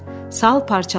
Sal parçalandı.